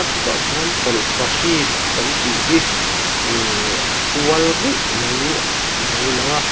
chutah chuan tawlhpahrit kan tih hi ihhh a kual ruih mai a lo lang a.